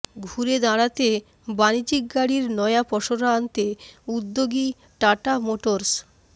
ঘুরে দাঁড়াতে বাণিজ্যিক গাড়ির নয়া পসরা আনতে উদ্যোগী টাটা মোটরস